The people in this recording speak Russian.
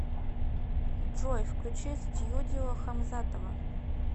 джой включи стьюдио хамзатова